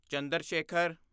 Chandra Shekhar